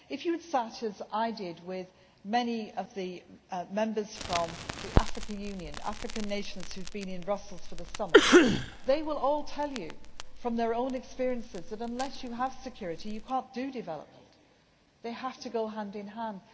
If you had sat, as I did, with many of the members from the African Union nations, who have been in Brussels for the Summit, they will all tell you from their own experiences that unless you have security, you cannot do development. They have to go hand in hand.